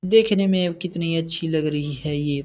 देखने में कितनी अच्छी लग रही है ये --